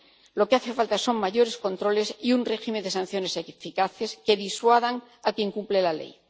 Lo que hace falta son más controles y un régimen de sanciones eficaces que disuadan a quien incumple la ley.